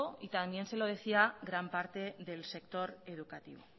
y también se lo decía gran parte del sector educativo